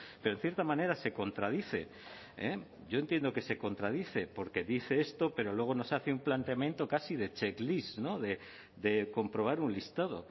pero en cierta manera se contradice yo entiendo que se contradice porque dice esto pero luego nos hace un planteamiento casi de checklist de comprobar un listado